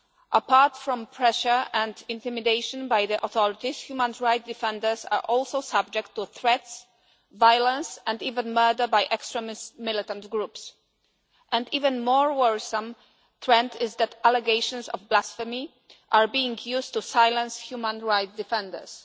Apart from pressure and intimidation by the authorities, human rights defenders are also subject to threats, violence and even murder by extremist militant groups, and an even more worrisome trend is that allegations of blasphemy are being used to silence human rights defenders.